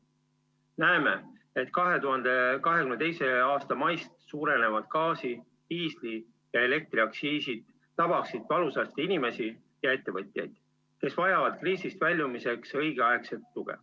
Näeme, et 2022. aasta maist suurenev gaasi-, diisli- ja elektriaktsiis tabaks valusalt inimesi ja ettevõtjaid, kes vajavad kriisist väljumiseks õigeaegset tuge.